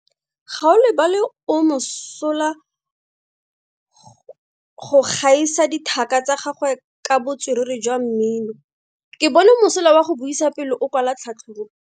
Gaolebalwe o mosola go gaisa dithaka tsa gagwe ka botswerere jwa mmino. Ke bone mosola wa go buisa pele o kwala tlhatlhobo.